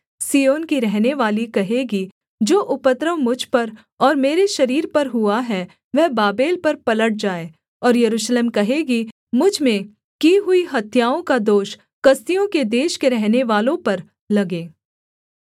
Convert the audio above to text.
सिय्योन की रहनेवाली कहेगी जो उपद्रव मुझ पर और मेरे शरीर पर हुआ है वह बाबेल पर पलट जाए और यरूशलेम कहेगी मुझ में की हुई हत्याओं का दोष कसदियों के देश के रहनेवालों पर लगे